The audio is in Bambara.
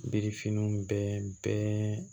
Yirifiniw bɛɛ bɛ